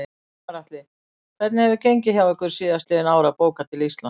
Gunnar Atli: Hvernig hefur gengið hjá ykkur síðastliðin ár að bóka til Íslands?